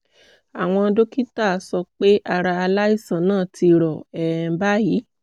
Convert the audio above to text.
àwọn dókítà sọ pé ara aláìsàn náà ti rọ um báyìí